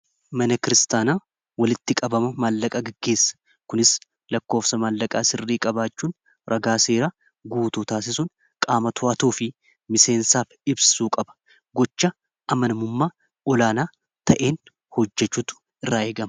mana kristaanaa walitti qabama maallaqaa giggeessa kunis lakkoofsa maallaqaa sirrii qabaachuun ragaa seera guutuu taasisun qaama to'atoo fi miseensaaf ibsuu qaba gocha amanamummaa olaanaa ta'een hojjechuutu irraa eegama